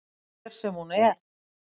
Hver sem hún er.